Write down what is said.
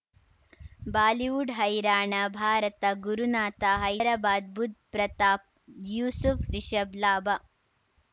Bollywood ಹೈರಾಣ ಭಾರತ ಗುರುನಾಥ ಹೈದರಾಬಾದ್ ಬುಧ್ ಪ್ರತಾಪ್ ಯೂಸುಫ್ ರಿಷಬ್ ಲಾಭ